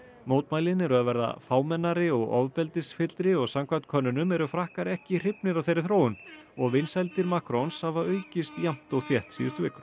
mótmælin eru að verða fámennari og ofbeldisfyllri og samkvæmt könnunum eru Frakkar ekki hrifnir af þeirri þróun og vinsældir Macrons hafa aukist jafnt og þétt síðustu vikur